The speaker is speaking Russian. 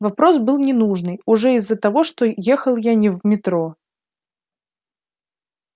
вопрос был ненужный уже из-за того что ехал я не в метро